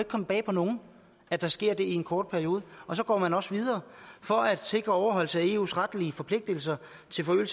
komme bag på nogen at der sker det i en kort periode så går man også videre for at sikre overholdelse af de eu retlige forpligtelser